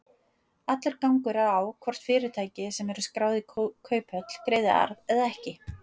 Allur gangur er á hvort fyrirtæki sem eru skráð í kauphöll greiði arð eða ekki.